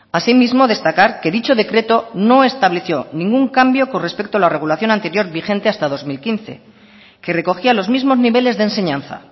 asimismo destacar que dicho decreto no estableció ningún cambio con respecto a la regulación anterior vigente hasta dos mil quince que recogía los mismos niveles de enseñanza